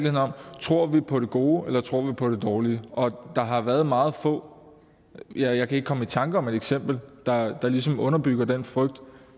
tror på det gode eller tror på det dårlige der har været meget få ja jeg kan ikke komme i tanker om et eksempel der der ligesom underbygger den frygt